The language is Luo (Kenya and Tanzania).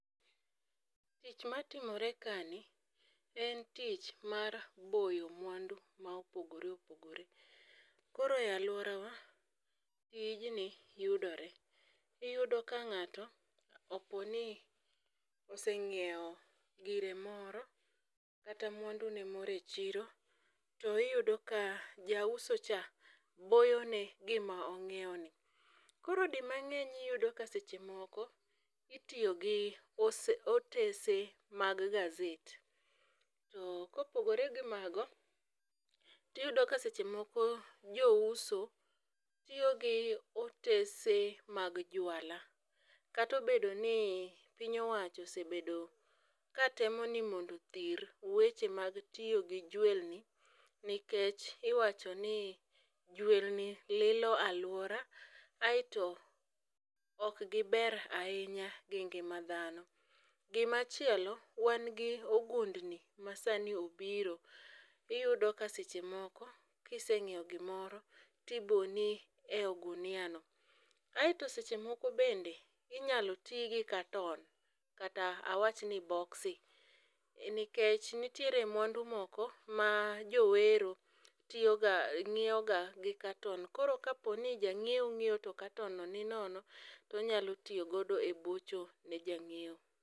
Tich matimore kani en tich mar boyo mwandu ma opogore opogore. Koro e alworawa tijni yudore, iyudo ka ng'ato oponi oseng'iewo gire moro kata mwandune moro e chiro tiyudo ka jauso cha boyone gima ong'ieoni. Koro di mang'eny iyudo ka seche moko itiyo gi otese mag gazet to kopogore gi mago tiyudo ka seche moko jouso tiyo gi otese mag juala kata obedo ni piny owacho osebedo ka temo ni mondo othir weche mag tiyo gi jwelni nikech iwacho ni jwelni lilo alwora aeto okgiber ahinya gi ngima dhano. Gimachielo wan gi ogundni masani obiro iyudo ka seche moko kiseng'ieo gimoro tiboni e i oguniano. Aeto seche mojko bende inyalo ti gi katon kata awachni boksi nikech nitiere mwandu moko ma jowero ng'ieoga gi katon koro kaponi jang'ieo ong'ieo to katonno ni nono tonyalo tiyogo e bocho ne jang'ieo.